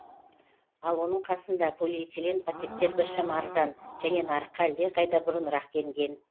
ал оның қасында полиэтилен пакеттер біршама арзан және нарыққа әлдеқайда бұрынырақ енген